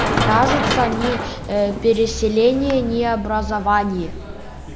кажется ни ээ переселение ни образование